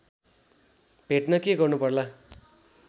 भेट्न के गर्नुपर्ला